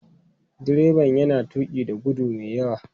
Direban yana tuki da gudu mai yawa.